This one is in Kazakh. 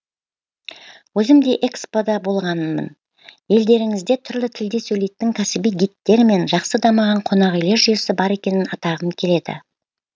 өзім де экспо да болғанмын елдеріңізде түрлі тілде сөйлейтін кәсіби гидтер мен жақсы дамыған қонақүйлер жүйесі бар екенін атағым келеді